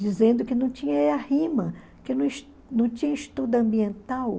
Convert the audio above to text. dizendo que não tinha que não tinha estudo ambiental.